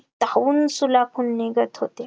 तावून सुलाखून निघत होते